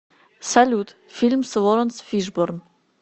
салют фильм с лоренс фишборн